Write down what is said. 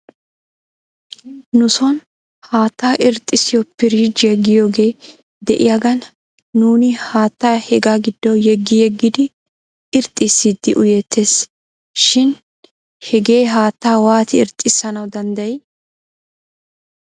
Nuson haattaa irxxissiyoo pirriijjiyaa giyoogee de'iyaagan nuuni haattaa hegaa giddo yeggi yeggidi irxxissidi uyeettes shin hegee haattaa waati irxxissanaw danddayii?